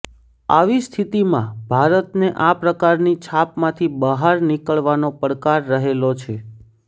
આવી સ્થિતિમાં ભારતને આ પ્રકારની છાપમાંથી બહાર નિકળવાનો પડકાર રહેલો છે